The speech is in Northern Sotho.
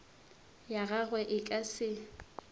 ya gagwe e ka se